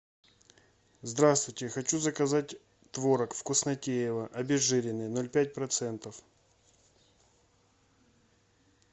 здравствуйте хочу заказать творог вкуснотеево обезжиренный ноль пять процентов